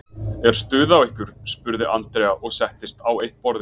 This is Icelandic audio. Er stuð á ykkur? spurði Andrea og settist á eitt borðið.